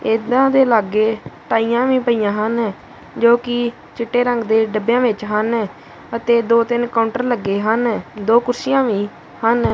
ਇਨਾ ਦੇ ਲਾਗੇ ਟਾਈਆਂ ਵੀ ਪਈਆਂ ਹਨ ਜੋ ਕਿ ਚਿੱਟੇ ਰੰਗ ਦੇ ਡੱਬਿਆਂ ਵਿੱਚ ਹਨ ਅਤੇ ਦੋ ਤਿੰਨ ਕਾਊਂਟਰ ਲੱਗੇ ਹਨ ਦੋ ਕੁਰਸੀਆਂ ਵੀ ਹਨ।